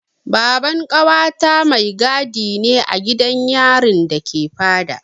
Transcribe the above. Baban ƙawata mai gadi ne a gidan yarin da ke Fada.